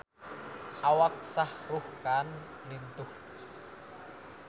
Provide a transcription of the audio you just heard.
Awak Shah Rukh Khan lintuh